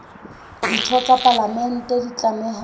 ditho tsa palamente di tlameha